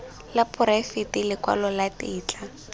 la poraefete lekwalo la tetla